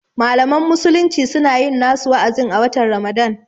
Malaman musulmi suna yin nasu wa'azin a watan Ramadan